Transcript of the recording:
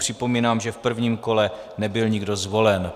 Připomínám, že v prvním kole nebyl nikdo zvolen.